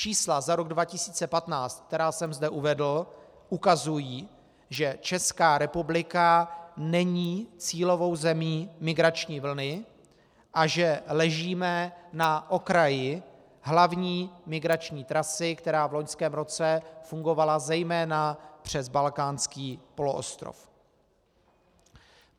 Čísla za rok 2015, která jsem zde uvedl, ukazují, že Česká republika není cílovou zemí migrační vlny a že ležíme na okraji hlavní migrační trasy, která v loňském roce fungovala zejména přes Balkánský poloostrov.